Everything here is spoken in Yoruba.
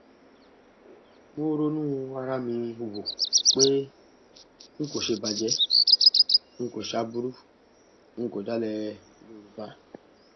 mo ronú ara mi wò pé n kò ṣèbàjẹ n kò ṣe aburú ń kọ dalẹ yorùbá